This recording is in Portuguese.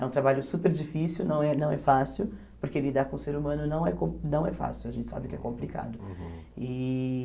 É um trabalho super difícil, não é não é fácil, porque lidar com o ser humano não é com não é fácil, a gente sabe que é complicado e.